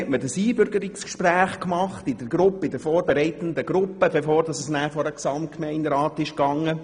Man führte das Einbürgerungsgespräch in der vorbereitenden Gruppe durch, bevor das Gesuch dem Gesamtgemeinderat vorgelegt wurde.